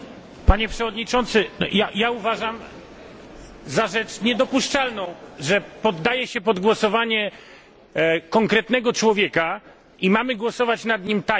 Uważam za rzecz niedopuszczalną, że poddaje się pod głosowanie konkretnego człowieka mamy głosować nad nim tajnie i nie widać jego nazwiska.